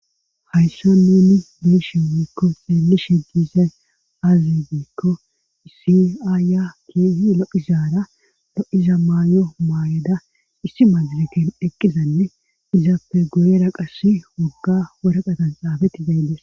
Hayssa nuni beeshiwiikko seemmi shegizay azibiikko isiaaya keehi loizaara lo'iza maayo maayeda issi majaleken eqqizanne izaappe guyera qassi wogga woraqatan xaafeti beyinles.